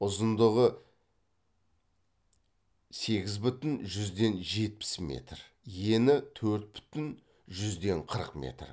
ұзындығы сегіз бүтін жүзден жетпіс метр ені төрт бүтін жүзден қырық метр